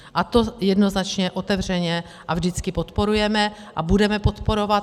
A to jednoznačně, otevřeně a vždycky podporujeme a budeme podporovat.